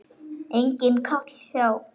Enginn kall hjá